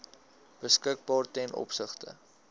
beskikbaar ten opsigte